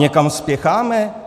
Někam spěcháme?